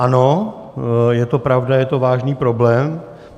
Ano, je to pravda, je to vážný problém.